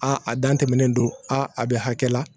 A a dan tɛmɛnen don a a bɛ hakɛ la